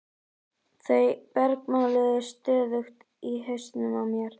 Þau bergmáluðu stöðugt í hausnum á mér.